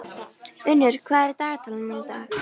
Unnur, hvað er í dagatalinu mínu í dag?